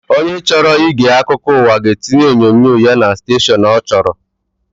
Onye chọrọ ige akụkọụwa ga etinye onyinyo ya na stashọn ọ chọrọ